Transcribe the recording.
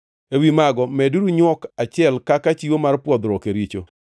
Ewi mago meduru nywok achiel kaka chiwo mar pwodhruok e richo.